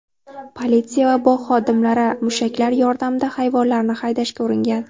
Politsiya va bog‘ xodimlari mushaklar yordamida hayvonlarni haydashga uringan.